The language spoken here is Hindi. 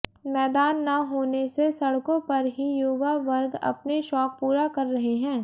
मैदान न होने से सड़कों पर ही युवा वर्ग अपने शौक पूरा कर रहे हैं